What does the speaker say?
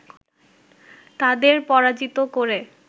তাদের পরাজিত করে